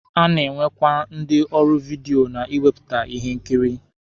A na-enwekwa ndi ọrụ vidiyo na ịwepụta ihe nkiri.